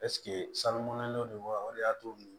Ɛseke salonnen don wa o de y'a to